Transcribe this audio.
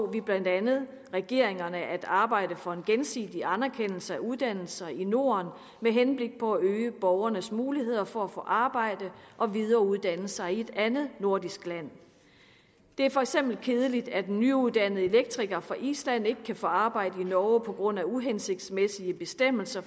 vi blandt andet regeringerne at arbejde for en gensidig anerkendelse af uddannelser i norden med henblik på at øge borgernes muligheder for at få arbejde og videreuddanne sig i et andet nordisk land det er for eksempel kedeligt at en nyuddannet elektriker fra island ikke kan få arbejde i norge på grund af uhensigtsmæssige bestemmelser